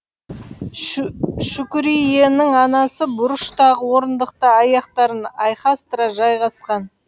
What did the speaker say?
шүкүриенің анасы бұрыштағы орындықта аяқтарын айқастыра жайғасқан